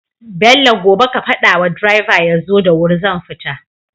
Bello gobe ka fada wa driver yaso da wuri zan fita